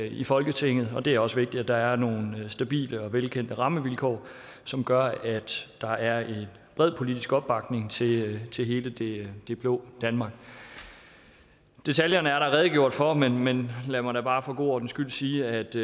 i folketinget og det er også vigtigt at der er nogle stabile og velkendte rammevilkår som gør at der er bred politisk opbakning til til hele det det blå danmark detaljerne er der redegjort for men men lad mig da bare for god ordens skyld sige at det